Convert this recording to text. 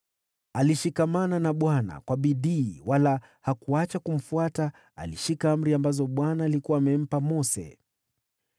Alishikamana na Bwana kwa bidii wala hakuacha kumfuata; alishika amri ambazo Bwana alikuwa amempa Mose.